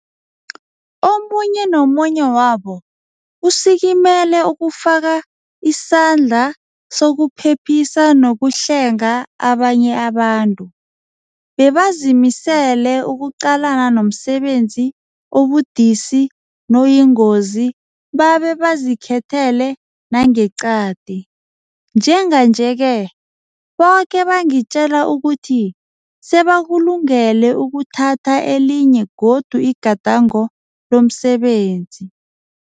Omunye nomunye wabo usikimele ukufaka isa-ndla sokuphephisa nokuhlenga abanye abantu. Bebazimisele ukuqalana nomsebenzi obudisi noyingozi babe bazikhethele nangeqadi. Njenganje-ke, boke bangitjela ukuthi sebakulungele ukuthatha elinye godu igadango lomsebenzi.